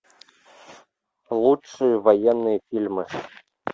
лучшие военные фильмы